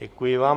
Děkuji vám.